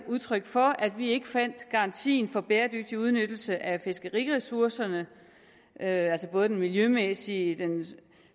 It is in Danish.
udtryk for at vi heller ikke fandt garantien for bæredygtig udnyttelse af fiskeriressourcerne altså både den miljømæssige den